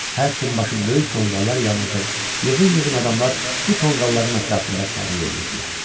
Hər tinbaşı böyük tonqallar yanırdı, yığın-yığın adamlar bu tonqalların ətrafında şənlik eləyirdilər.